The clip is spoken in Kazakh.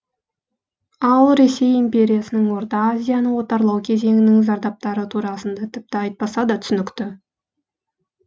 ал ресей империясының орта азияны отарлау кезеңінің зардаптары турасында тіпті айтпаса да түсінікті